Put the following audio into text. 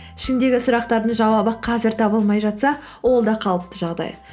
ішіндегі сұрақтардың жауабы қазір табылмай жатса ол да қалыпты жағдай